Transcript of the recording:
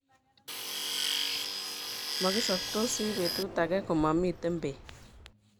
Magisoptosi betut age komamiten beek